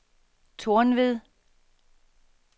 Tornved